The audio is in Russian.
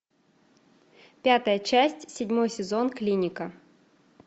пятая часть седьмой сезон клиника